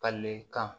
Ka ne kan